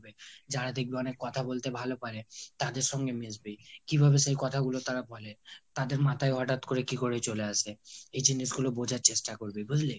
যারা দেখবি অনেক কথা বলতে ভাল পারে তাদের সাথে মিশবি। কিভাবে সেই কথাগুলো তারা বলে? তাদের মাথায় হটাৎ করে কি করে চলে আসে? এই জিনিসগুলো বুজার চেষ্টা করবি, বুজলি?